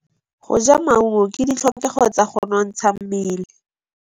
Go ja maungo ke ditlhokegô tsa go nontsha mmele.